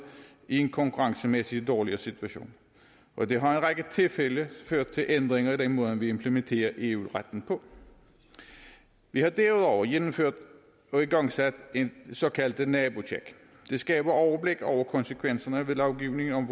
i en konkurrencemæssig dårligere situation og det har række tilfælde ført til ændringer i den måde vi implementerer eu retten på vi har derudover gennemført og igangsat et såkaldt nabotjek det skaber overblik over konsekvenserne af lovgivningen